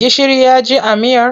Gishiri ya ji a miyar?